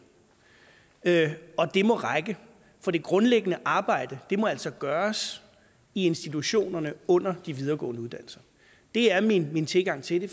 det må række for det grundlæggende arbejde må altså gøres i institutionerne under de videregående uddannelser det er min min tilgang til det